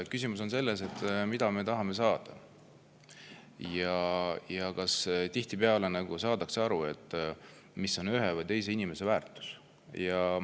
Küsimus on selles, mida me tahame saada, ja tihtipeale selles, kas saadakse aru, mis on ühe või teise inimese väärtus.